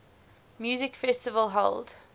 music festival held